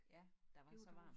Ja der var så varmt